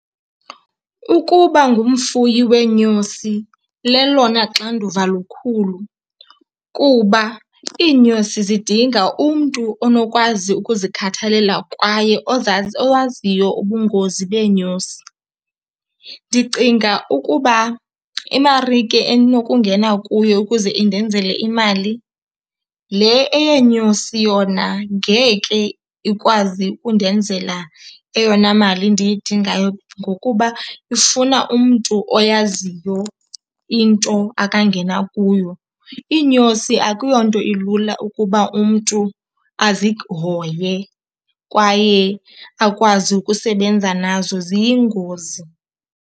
Ukuba ngumfuyi weenyosi lelona xanduva lukhulu kuba iinyosi zidinga umntu onokwazi ukuzikhathalela kwaye owaziyo ubungozi beenyosi. Ndicinga ukuba imarike endinokungena kuyo ukuze indenzele imali, le eyenyosi yona ngeke ikwazi undenzela eyona mali ndiyidingayo ngokuba ifuna umntu oyaziyo into akangena kuyo. Iinyosi akuyonto ilula ukuba umntu azihoye kwaye akwazi ukusebenza nazo, ziyingozi.